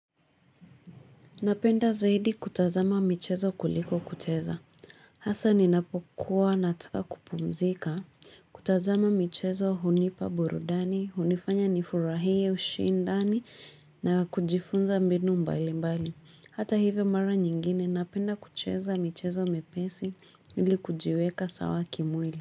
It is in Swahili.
Napenda zaidi kutazama michezo kuliko kucheza, hasa ninapokuwa nataka kupumzika, kutazama michezo hunipa burudani, hunifanya nifurahie ushindani na kujifunza mbinu mbali mbali, hata hivyo mara nyingine napenda kucheza michezo miepesi ili kujiweka sawa kimwili.